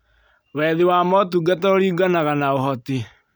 Wethi wa motungata ũringanaga na ũhoti